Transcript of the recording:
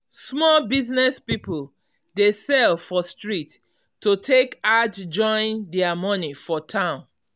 small business people dey sell for street to take add join their money for town.